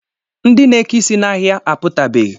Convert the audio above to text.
Ndị na-eke isi n'ahịa apụtabeghị